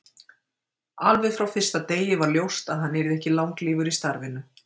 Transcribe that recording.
Alveg frá fyrsta degi var ljóst að hann yrði ekki langlífur í starfinu.